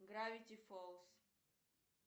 гравити фолс